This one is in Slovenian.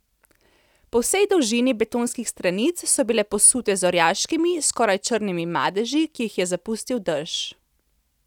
Po vsej dolžini betonskih stranic so bile posute z orjaškimi, skoraj črnimi madeži, ki jih je zapustil dež.